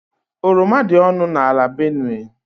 Oroma dị ọnụ ala n' Benue.